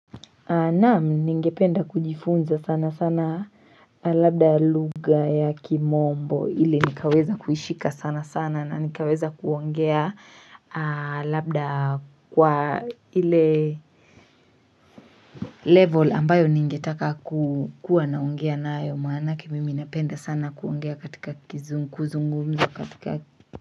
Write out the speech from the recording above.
Naam ningependa kujifunza sana sana Labda lugha ya kimombo ili nikaweza kuishika sana sana na nikaweza kuongea labda kwa ile Level ambayo ningetaka kukuwa naongea nayo maanake mimi napenda sana kuongea katika kuzungumza katika.